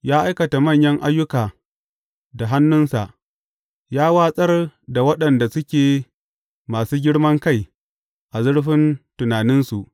Ya aikata manyan ayyuka da hannunsa; ya watsar da waɗanda suke masu girman kai a zurfin tunaninsu.